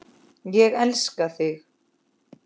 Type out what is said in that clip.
Ég elska mig!